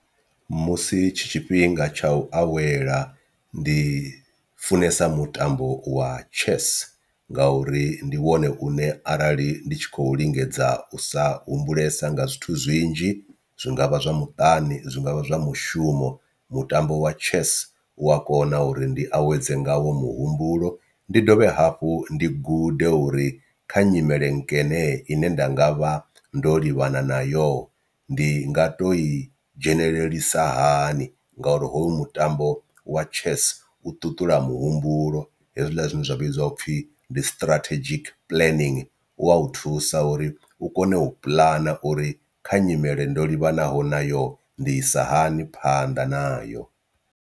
Musi tshi tshifhinga tsha u awela ndi funesa mutambo wa chess ngauri ndi wone une arali ndi tshi khou lingedza u sa humbulesa nga zwithu zwinzhi zwi ngavha zwa muṱani, zwi ngavha zwa mushumo mutambo wa chess u a kona uri ndi awedze ngawo muhumbulo, ndi dovhe hafhu ndi gude uri kha nyimele nkene ine nda nga vha ndo livhana na yo ndi nga to i dzhenelelisa hani ngauri hoyu mutambo wa chess u ṱuṱula muhumbulo hezwiḽa zwine zwa vhidziwa u pfhi ndi strategic planning u wa u thusa uri u kone u puḽana uri kha nyimele ndo livhanaho nayo ndi isa hani phanḓa nayo.